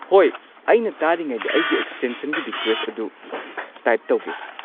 ꯍꯣꯏ, ꯑꯩꯅ ꯇꯥꯔꯤꯉꯩꯗ ꯑꯩꯒꯤ ꯑꯦꯛꯁꯇꯦꯟꯁꯟꯒꯤ ꯔꯤꯀ꯭ꯋꯦꯁꯠ ꯑꯗꯨ ꯇꯥꯏꯞ ꯇꯧꯒꯦ꯫